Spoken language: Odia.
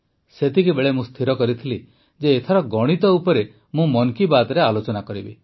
ସେତିକିବେଳେ ମୁଁ ସ୍ଥିର କରିଥିଲି ଯେ ଏଥର ଗଣିତ ଉପରେ ମୁଁ ମନ୍ କି ବାତ୍ରେ ଆଲୋଚନା କରିବି